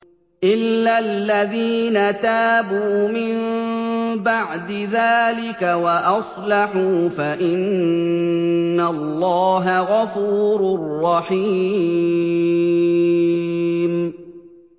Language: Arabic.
إِلَّا الَّذِينَ تَابُوا مِن بَعْدِ ذَٰلِكَ وَأَصْلَحُوا فَإِنَّ اللَّهَ غَفُورٌ رَّحِيمٌ